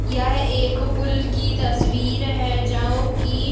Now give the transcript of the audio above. यह एक पूल की तस्वीर है जओ की --